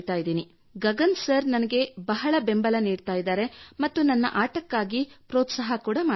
ಈಗ ಗಗನ್ ಸರ್ ನನಗೆ ಬಹಳ ಬೆಂಬಲ ನೀಡಿದರು ಮತ್ತು ನನ್ನ ಆಟಕ್ಕಾಗಿ ಒತ್ತು ನೀಡಿದರು